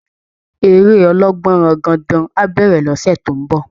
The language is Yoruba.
Eré ọlọ́gbọnrangandan á bẹ̀rẹ̀ lọ́sẹ̀ tó ń bọ̀